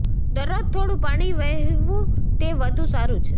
દરરોજ થોડું પાણી વહેવું તે વધુ સારું છે